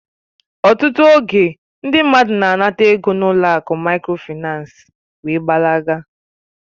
Ọtụtụ oge, ndị mmadụ na-anata ego n'ụlọ akụ Mikrofaịnsi wee gbalaga